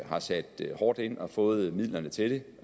har sat hårdt ind og har fået midlerne til